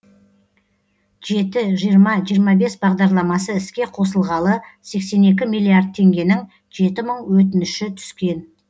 жеті жиырма жиырма бес бағдарламасы іске қосылғалы сексен екі миллиард теңгенің жеті мың өтініші түскен